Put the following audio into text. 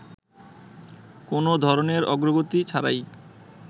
কোন ধরনের অগ্রগতি ছাড়াই